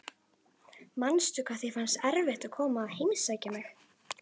Manstu hvað þér fannst erfitt að koma að heimsækja mig?